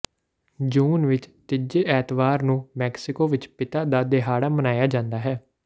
ਜੂਨ ਵਿਚ ਤੀਜੇ ਐਤਵਾਰ ਨੂੰ ਮੈਕਸੀਕੋ ਵਿਚ ਪਿਤਾ ਦਾ ਦਿਹਾੜਾ ਮਨਾਇਆ ਜਾਂਦਾ ਹੈ